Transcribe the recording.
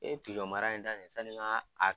E mara in daminɛ sanni n ka a